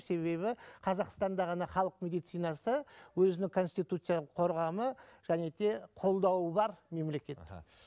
себебі қазақстанда ғана халық медицинасы өзінің конституицялық қорғамы және де қолдауы бар мемлекет іхі